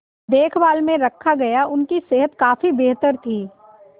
देखभाल में रखा गया उनकी सेहत काफी बेहतर थी